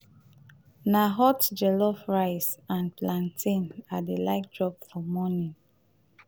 na hot jellof rice and plantain i dey like chop for morning o.